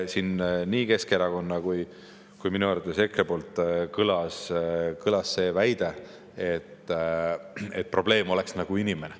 Siin nii Keskerakonna kui minu arvates ka EKRE poolt kõlas väide, et probleem oleks nagu inimene.